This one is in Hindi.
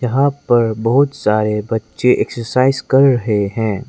यहां पर बहुत सारे बच्चे एक्सरसाइज कर रहे है।